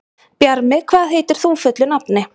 Bjarmi, hvað heitir þú fullu nafni?